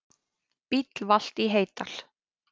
Bíll valt í Heydal